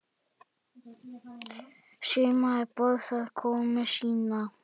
Sumarið boðar komu sína.